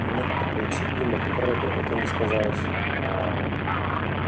нет такой цепи на которой бы это не сказалось